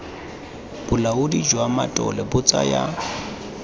bolaodi jwa matlole bo tsaya